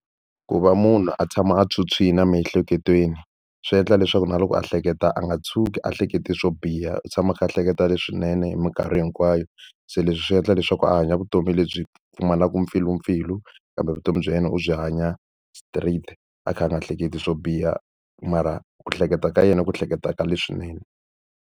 Ku va munhu a tshama a phyuphyile emiehleketweni swi endla leswaku na loko a hleketa a nga tshuki a hlekete swo biha, u tshama a kha a hleketa leswinene hi mikarhi hinkwayo. Se leswi swi endla leswaku ku hanya vutomi lebyi pfumalaka mpfilumpfilu, kambe vutomi bya yena u byi hanya straight a kha a nga hleketi swo biha. Mara ku hleketa ka yena i ku hleketa ka leswinene.